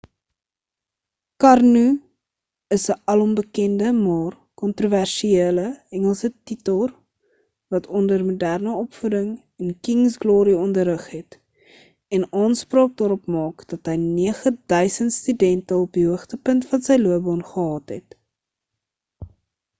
karno is 'n alombekende maar kontroversiële engelse tutor wat onder moderne opvoeding en king's glory onderrig het en aanspraak daarop maak dat hy 9 000 studente op die hoogtepunt van sy loopbaan gehad het